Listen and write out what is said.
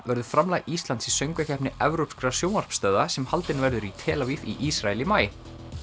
verður framlag Íslands í Söngvakeppni evrópskra sjónvarpsstöðva sem haldin verður í tel Aviv í Ísrael í maí